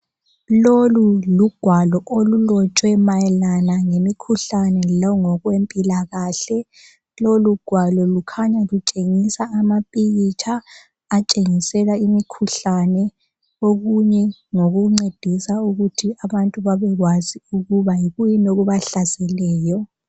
Lolu lugwalo olulotshwe mayelana ngemikhuhlane lango kwempilakahle lolugwalo lukhanya lutshengisa amapikitsha atshengisela imikhuhlane okunye ngokuncedisa ukuthi abantu babekwazi ukuba yikuyini okubahlaseleyo.